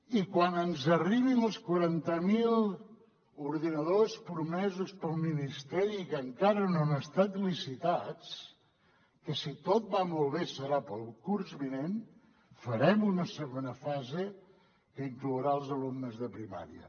i quan ens arribin els quaranta mil ordinadors promesos pel ministeri que encara no han estat licitats que si tot va molt bé serà per al curs vinent farem una segona fase que inclourà els alumnes de primària